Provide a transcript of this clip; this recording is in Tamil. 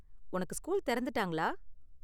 உனக்கு ஸ்கூல் தெறந்துட்டாங்களா?